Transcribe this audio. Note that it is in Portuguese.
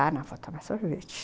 Ah, não, vou tomar sorvete.